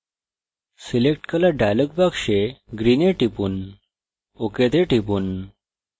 selectcolor dialog box green এ টিপুন ok তে টিপুন